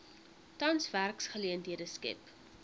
tans werksgeleenthede skep